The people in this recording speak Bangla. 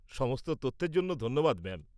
-সমস্ত তথ্যের জন্য ধন্যবাদ ম্যাম।